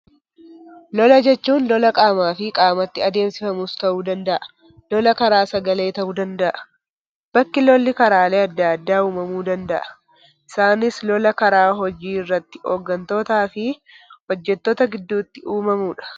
Lola jechuun lola qaamaa fi qaamatti adeemsifamus ta'uu danda'a, lola karaa sagalee ta'uu danda'a. Bakki lolli karaalee addaa addaa uumamuu danda'a. Isaanis lola karaa hojii irratti hooggantootaa fi hojjettoota gidduutti uumamudha.